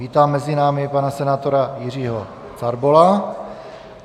Vítám mezi námi pana senátora Jiřího Carbola.